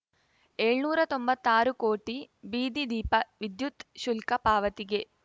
ಏಳ್ನೂರಾ ತೊಂಬತ್ತಾರು ಕೋಟಿ ಬೀದಿ ದೀಪ ವಿದ್ಯುತ್‌ ಶುಲ್ಕ ಪಾವತಿಗೆ